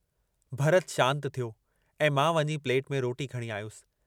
भरत शांत थियो ऐं मां वञी प्लेट में रोटी खणी आयुसि।